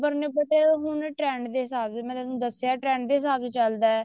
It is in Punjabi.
ਨੇ but ਇਹ ਹੁਣ trend ਦੇ ਹਿਸਾਬ ਸਿਰ ਮੈਂ ਤੁਹਾਨੂੰ ਦੱਸਿਆ trend ਦੇ ਹਿਸਾਬ ਨਾਲ ਚੱਲਦਾ